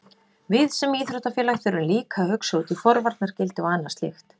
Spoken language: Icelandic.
Við sem íþróttafélag þurfum líka að hugsa út í forvarnargildi og annað slíkt.